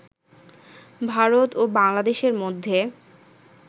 ভারত ও বাংলাদেশের মধ্যে